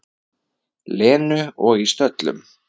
Lenu, og í stöllum.